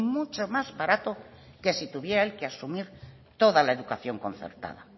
mucho más barato que si tuviera él que asumir toda la educación concertada